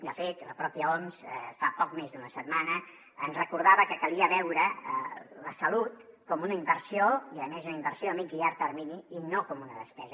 de fet la pròpia oms fa poc més d’una setmana ens recordava que calia veure la salut com una inversió i a més una inversió a mitjà i a llarg termini i no com una despesa